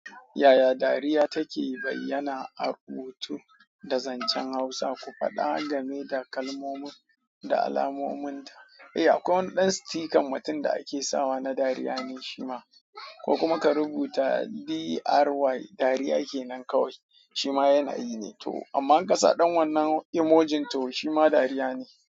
Yaya dariya take bayyana a rubutu da zancen Hausa, ku faɗa game da kalmomin da alamominta? Eh akwai wani ɗan stikan mutum da ake sawa na dariya ne shima ko kuma ka rubuta D-R-Y dariya kenan kawai shima yanayi ne to amma ƙasa ɗan wannan emojin to shima dariya ne.